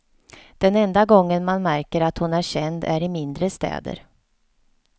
Den enda gången man märker att hon är känd är i mindre städer.